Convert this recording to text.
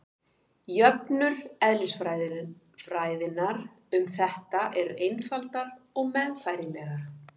jöfnur eðlisfræðinnar um þetta eru einfaldar og meðfærilegar